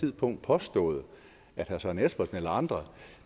tidspunkt påstået at herre søren espersen eller andre